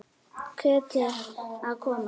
Ketill að koma?